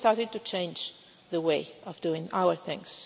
So we've started to change the way of doing our things.